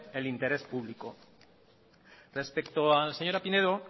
el interés público respecto a la señora pinedo